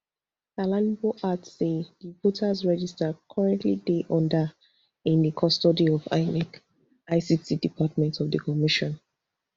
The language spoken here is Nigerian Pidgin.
alalibo add say di voters register currently dey under in di custody of inec ict department of di commission